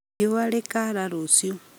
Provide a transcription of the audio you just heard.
Riũa rĩkaara rũciũ